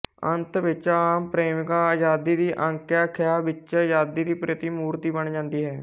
ਅੰਤ ਵਿੱਚ ਆਪ ਪ੍ਰੇਮਿਕਾ ਅਜ਼ਾਦੀ ਦੀ ਆਕਾਂਖਿਆ ਵਿੱਚ ਅਜ਼ਾਦੀ ਦੀ ਪ੍ਰਤੀਮੂਰਤੀ ਬਣ ਜਾਂਦੀ ਹੈ